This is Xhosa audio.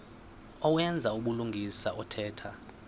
owenza ubulungisa othetha